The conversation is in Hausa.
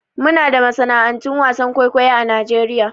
Muna da masana'antun wasan kwaikwayo a Najeriya.